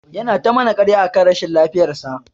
Yana ta mana karya akan rashin lafiyar sa.